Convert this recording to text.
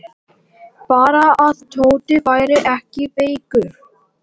Bara að Tóti væri ekki veikur.